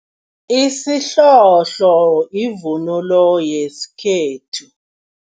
Isihlohlo yivunulo yesikhethu.